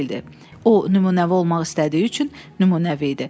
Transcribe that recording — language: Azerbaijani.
O nümunəvi olmaq istədiyi üçün nümunəvi idi.